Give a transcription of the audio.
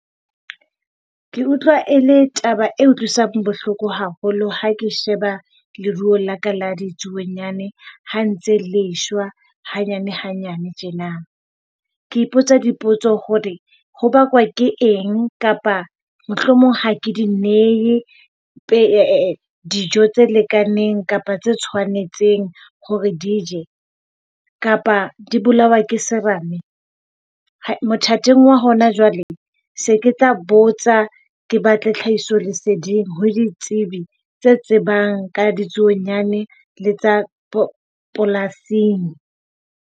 Ke utlwa e le taba e utlwisang bohloko haholo ha ke sheba leruo la ka la ditsuonyana ha ntse le shwa hanyanehanyane tjena. Ke ipotsa dipotso hore ho bakwa ke eng kapa mohlomong ha ke di nehe dijo tse lekaneng kapa tse tshwanetseng hore di je kapa di bolawa ke serame. Mothating wa hona jwale se ke tla botsa ke batle tlhahiso leseding ho ditsebi tsa tsebang ka ditsuonyana le tsa polasing.